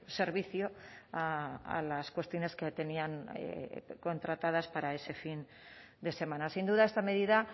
servicio a las cuestiones que tenían contratadas para ese fin de semana sin duda esta medida